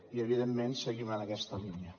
i evidentment seguim en aquesta línia